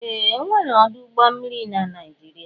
Ee! E nwere ọdụ ụgbọ mmiri na Naịjirịa.